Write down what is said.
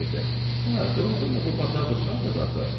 Hə, doğurdan da bu Patabıçaq hardadır axı?